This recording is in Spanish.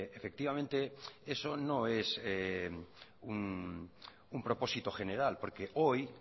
efectivamente eso no es un propósito general porque hoy